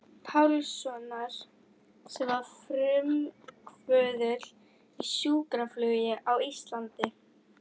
Pálssonar sem var frumkvöðull í sjúkraflugi á Íslandi.